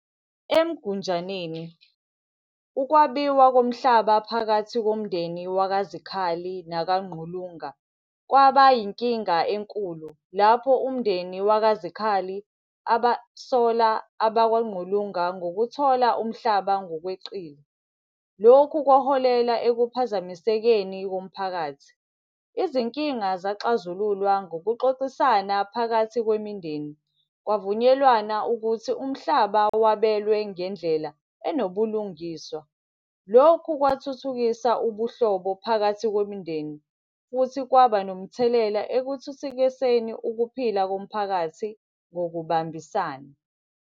EMgunjaneni, ukwabiwa komhlaba phakathi komndeni wakaZikhali nakaNgqulunga, kwaba inkinga enkulu lapho umndeni wakaZikhali abasola abakwaNgqulunga ngokuthola umhlaba ngokweqile. Lokhu kwaholela ekuphazamisekeni komphakathi. Izinkinga zaxazululwa ngokuxoxisana phakathi kwemindeni. Kwavunyelwana ukuthi umhlaba wabelwe ngendlela enobulungiswa. Lokhu kwathuthukisa ubuhlobo phakathi kwemindeni, futhi kwaba nomthelela ekuthuthukiseni ukuphila komphakathi ngokubambisana.